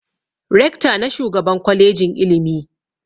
Rekta ne shugaban kwalejin ilimi